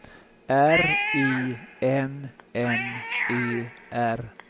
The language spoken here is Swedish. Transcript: R I N N E R